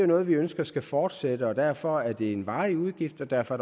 noget vi ønsker skal fortsætte og derfor er det en varig udgift og derfor